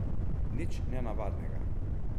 Nič nenavadnega.